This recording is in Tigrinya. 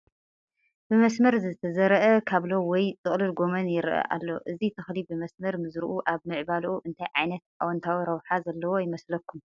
ብመስመር ዝተዘርአ ካብሎ ወይ ጥቕልል ጐመን ይርአ ኣሎ፡፡ እዚ ተኽሊ ብመስመር ምዝርኡ ኣብ ምዕባልኡ እንታይ ዓይነት ኣወንታዊ ረብሓ ዘለዎ ይመስለኩም?